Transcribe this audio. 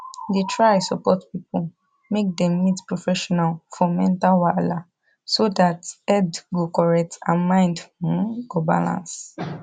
da try support people make dem meet professional for mental wahala so that head go correct and mind um go balance